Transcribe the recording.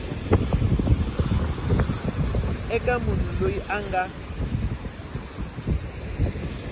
eka munhu loyi a nga